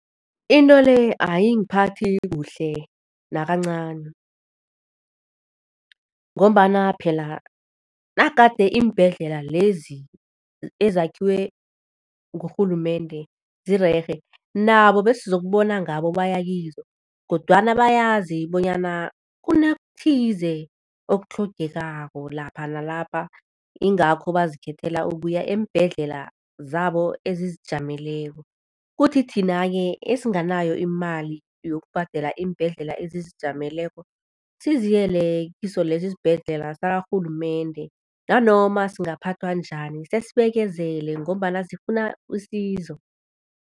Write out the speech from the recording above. Into le ayingiphathi kuhle nakancani ngombana phela nagade iimbhedlela lezi ezakhiwe ngurhulumende zirerhe, nabo besizokubona ngabo baya kizo kodwana bayazi bonyana kunokuthize okutlhogekako lapha nalapha, yingakho bazikhethela ukuya eembhedlela zabo ezizijameleko. Kuthi thina-ke esinganayo imali yokubhadela iimbhedlela ezizijameleko, siziyele kiso leso isibhedlela sakarhulumende nanoma singaphathwa njani, sesibekezele ngombana sifuna usizo.